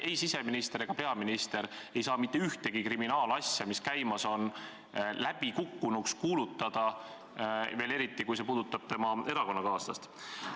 Ei siseminister ega peaminister ei saa mitte ühtegi kriminaalasja, mis käimas on, läbikukkunuks kuulutada, eriti veel siis, kui see puudutab erakonnakaaslast.